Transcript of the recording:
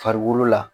Farikolo la